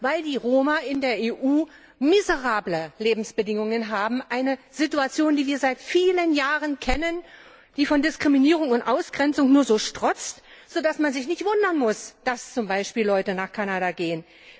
Weil die Roma in der EU miserable Lebensbedingungen haben, eine Situation, die wir seit vielen Jahren kennen, die von Diskriminierung und Ausgrenzung nur so strotzt, so dass man sich nicht wundern muss, dass zum Beispiel Leute nach Kanada gehen.